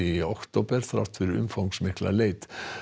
í október þrátt fyrir umfangsmikla leit